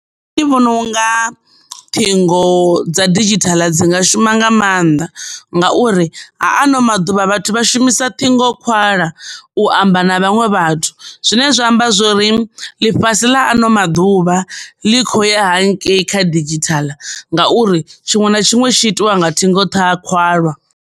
Nṋe ndi vhona unga ṱhingo dza didzhithala dzi nga shuma nga mannḓa ngauri ha ano maḓuvha vhathu vha shumisa ṱhingo khwalwa u amba na vhaṅwe vhathu zwine zwa amba zwori ḽi fhasi ḽa ano maḓuvha ḽi kho ya hangei kha didzhithala ngauri tshiṅwe na tshiṅwe tshi itiwa nga ṱhingo ṱha, khwalwa.